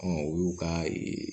o y'u ka